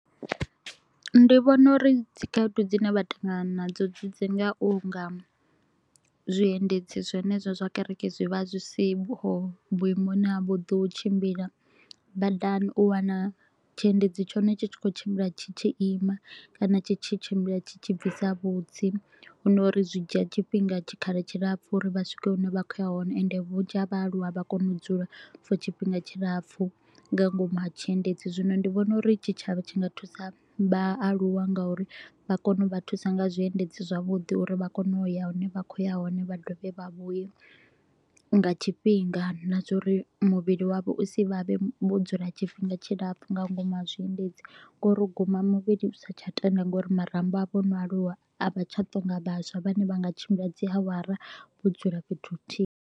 Ndi vhona uri dzikhaedu dzine vha ṱangana nadzo dzi dzi nga u nga zwiendedzi zwine zwa kereke zwi vha zwi siho vhuimoni ha vho ḓo u tshimbila badani, u wana tshiendedzi tshone tshi tshi kho u tshimbila tshi tshi ima kana tshi tshi tshimbila tshi tshi bvisa vhutsi. Hu no u ri zwi dzhia tshifhinga tshikhala tshilapfu u ri vha swike hune vha kho u ya hone. Ende vhunzhi ha vhaaluwa vha kone u dzula for tshifhinga tshilapfu nga ngomu ha tshiendedzi, zwino ndi vhona u ri tshitshavha tshi nga thusa vhaaluwa nga u ri vha kone u vha thusa nga zwiendedzi zwavhuḓi u ri vha kone u ya hune vha kho u ya hone. Vha dovhe vha vhuye nga tshifhinga na zwa u ri muvhili wavho u si vhavhe vho dzula tshifhinga tshilapfu nga ngomu ha zwiendedzi. Ngauri u guma muvhili u sa tsha tenda nga u ri marambo avho o no aluwa, a vha tsha to u nga vhaswa vhane vha nga tshimbila dzi awara vho dzula fhethu huthihi.